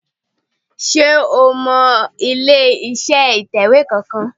Sé o mọ ilé iṣẹ́ ìtẹ̀wé kan kan